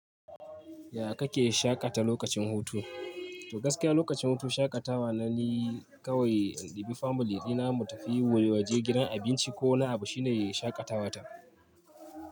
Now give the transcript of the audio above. Ya kake shaƙata lokacin hutu? Gaskiya lokacin hutu shaƙatawa na ni kawai, in ɗibi family ɗina mu tafi wui waje gidan abinci ko wani abu shine shaƙatawata.